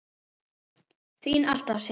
Þín alltaf, Sif.